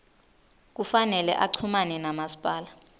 kufanele uchumane namasipala